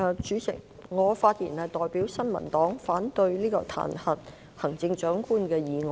主席，我代表新民黨發言，反對這項彈劾行政長官的議案。